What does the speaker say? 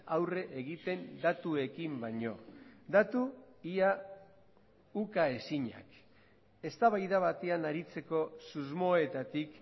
aurre egiten datuekin baino datu ia ukaezinak eztabaida batean aritzeko susmoetatik